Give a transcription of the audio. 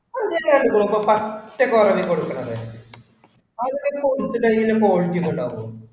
first കുറവി കൊടുക്കണത്. അതിങ്ങനെ കൊടുത്തു കഴിഞ്ഞാ quality ഒക്കെ ഉണ്ടാകുവോ?